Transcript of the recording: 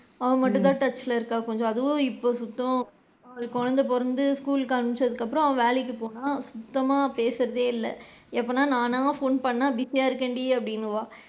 அவ மட்டும் தான் touch ல இருக்கா அதுவும் இப்ப சுத்தம் குழந்தை பொறந்து school ளுக்கு அனுப்ச்சதுக்கு அப்பறம் அவ வேலைக்கு போனா சுத்தமா பேசுறதே இல்ல அப்போனா நானா phone பண்ணா busy யா இருக்கேண்டி அப்படின்பா.